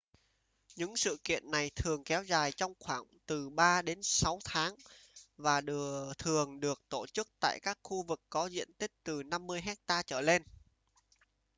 những sự kiện này thường kéo dài trong khoảng từ 3 đến 6 tháng và thường được tổ chức tại các khu vực có diện tích từ 50 hecta trở lên